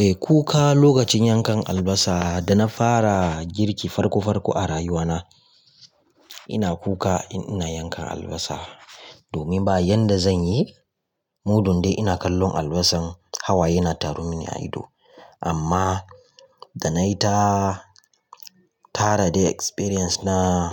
Eh nayi kuka lokacin yankan albasa dana fara girki farko farko a rayuwata. Ina kuka in yana yankan albasa domin ba yanda zanyi, muddun dai ina kallon albasar hawaye yana tararmin a ido. Amma da nayi ta tare experience na